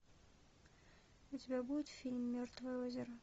у тебя будет фильм мертвое озеро